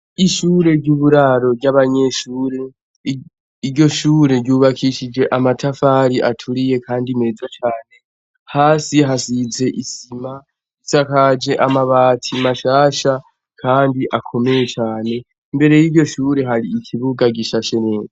Ishure ry'uburaro ry'abanyeshure. Iryo shure ryubakishije amatafari aturiye kandi meza cane. Hasi hasize isima. Risakaje amabati mashasha kandi akomeye cane. Imbere y'iryo shure hari ikibuga gishashe neza.